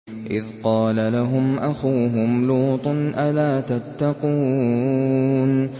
إِذْ قَالَ لَهُمْ أَخُوهُمْ لُوطٌ أَلَا تَتَّقُونَ